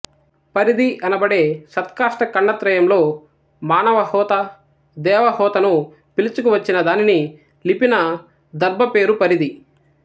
పరిధి అనబడే సంత్కాష్ఠఖండత్రయంలో మానవహోత దేవహోతను పిలుచుకువచ్చిన దానిని లిపిన దర్భ పేరు పరిధి